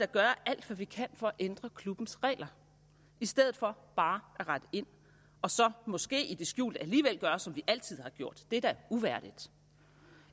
gøre alt hvad vi kan for at ændre klubbens regler i stedet for bare at rette ind og så måske i det skjulte alligevel gøre som vi altid har gjort det er da uværdigt